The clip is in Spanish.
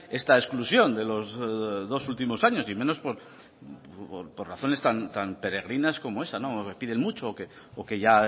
esta exclusión de los dos últimos años y menos por razones tan peregrinas como esa que piden mucho o que ya